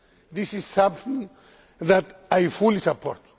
This is something that I fully support.